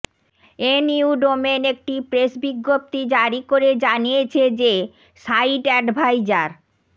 NU domain একটি press বিজ্ঞপ্তি জারি করে জানিয়েছে যে সাইটএডভাইজার